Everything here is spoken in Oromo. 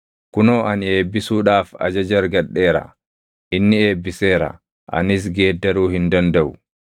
Kunoo ani eebbisuudhaaf ajaja argadheera; inni eebbiseera; anis geeddaruu hin dandaʼu.